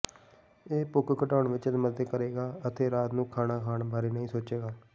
ਇਹ ਭੁੱਖ ਘਟਾਉਣ ਵਿਚ ਮਦਦ ਕਰੇਗਾ ਅਤੇ ਰਾਤ ਨੂੰ ਖਾਣਾ ਖਾਣ ਬਾਰੇ ਨਹੀਂ ਸੋਚੇਗਾ